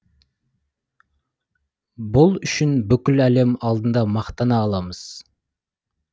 бұл үшін бүкіл әлем алдында мақтана аламыз